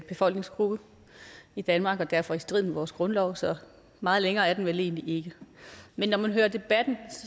befolkningsgruppe i danmark og derfor er i strid med vores grundlov så meget længere er den vel egentlig ikke men når man hører debatten